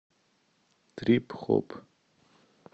трип хоп